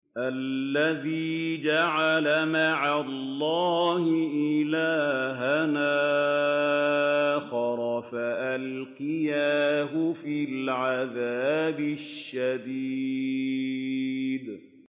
الَّذِي جَعَلَ مَعَ اللَّهِ إِلَٰهًا آخَرَ فَأَلْقِيَاهُ فِي الْعَذَابِ الشَّدِيدِ